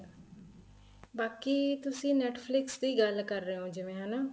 ਬਾਕੀ ਤੁਸੀਂ Netflix ਦੀ ਗੱਲ ਕਰ ਰਹੇ ਹੋ ਜਿਵੇਂ ਹਨਾ